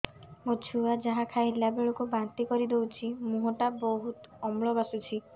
ମୋ ଛୁଆ ଯାହା ଖାଇଲା ବେଳକୁ ବାନ୍ତି କରିଦଉଛି ମୁହଁ ଟା ବହୁତ ଅମ୍ଳ ବାସୁଛି